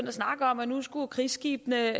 at snakke om at nu skulle krigsskibene